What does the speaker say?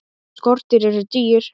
Skordýr eru dýr.